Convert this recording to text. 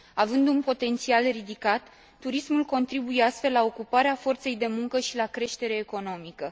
Având un potențial ridicat, turismul contribuie astfel la ocuparea forței de muncă și la creșterea economică.